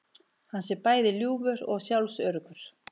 Hann sé bæði ljúfur og sjálfsöruggur